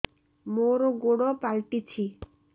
ମୋର ଗୋଡ଼ ପାଲଟିଛି